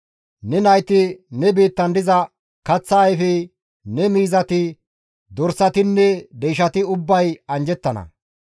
Ne nayti, ne biittan diza kaththa ayfey, ne miizati, dorsatinne deyshati ubbay anjjettana.